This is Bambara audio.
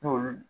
N'olu